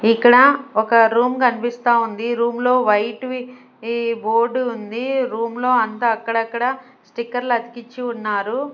ఇక్కడ ఒక రూమ్ కనిపిస్తా ఉంది రూమ్ లో వైట్ వి ఈ బోర్డు ఉంది రూమ్ లో అంత అక్కడక్కడా స్టిక్కర్లు అతికించి ఉన్నారు.